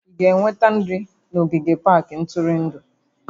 Ị ga-eweta nri na ogige pak ntụrụndụ?